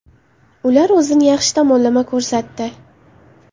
Ular o‘zini yaxshi tomonlama ko‘rsatdi.